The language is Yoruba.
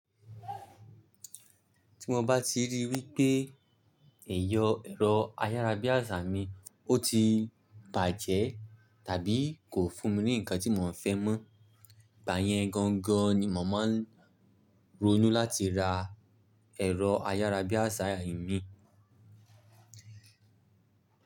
Tí mo bá ti ríi wípé ẹ̀yọ̀ ẹ̀rọ ayárabíàṣá mi, ó ti bàjẹ́ tàbí kò fún mi ní ǹkan tí mò ń fẹ́ mọ́, ìgbà yẹn gangan ni mò máa ń ronú láti ra ẹ̀rọ ayárabíàṣá imi.